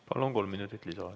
Palun, kolm minutit lisaaega.